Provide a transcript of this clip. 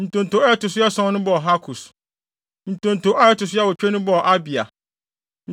Ntonto a ɛto so ason no bɔɔ Hakos. Ntonto a ɛto so awotwe no bɔɔ Abia.